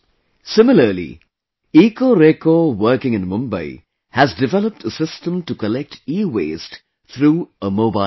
Similarly, Ecoreco working in Mumbai has developed a system to collect EWaste through a Mobile App